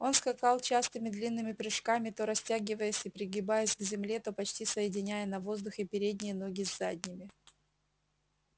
он скакал частыми длинными прыжками то растягиваясь и пригибаясь к земле то почти соединяя на воздухе передние ноги с задними